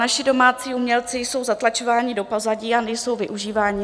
Naši domácí umělci jsou zatlačováni do pozadí a nejsou využíváni.